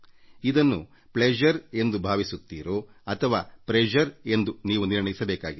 ಇದನ್ನು ಪ್ಲೆಶರ್ ಎಂದು ಭಾವಿಸುತ್ತೀರೋ ಅಥವಾ ಪ್ರೆಶರ್ ಎಂದೋ ಎಂಬುದನ್ನು ನೀವೇ ನಿರ್ಣಯಿಸಬೇಕಿದೆ